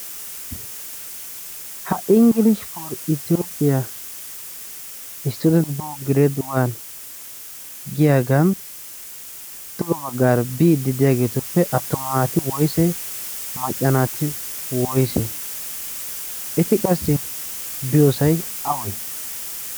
ha inggiliishi por itiyoophiyaa isttudent poor greedwan giyaagan tugo baggaari biiddi diyaageetuppe attuma naati woysee macca naati woyse eti qassi biyoosay awee?